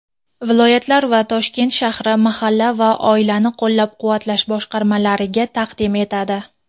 viloyatlar va Toshkent shahar mahalla va oilani qo‘llab-quvvatlash boshqarmalariga taqdim etadi.